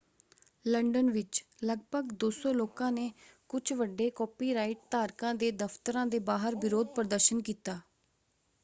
London ਵਿੱਚ ਲਗਭਗ 200 ਲੋਕਾਂ ਨੇ ਕੁਝ ਵੱਡੇ ਕਾਪੀਰਾਈਟ ਧਾਰਕਾਂ ਦੇ ਦਫਤਰਾਂ ਦੇ ਬਾਹਰ ਵਿਰੋਧ ਪ੍ਰਦਰਸ਼ਨ ਕੀਤਾ।